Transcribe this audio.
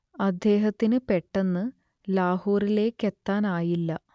അദ്ദേഹത്തിന് പെട്ടെന്ന് ലാഹോറിലേക്കെത്താനിയില്ല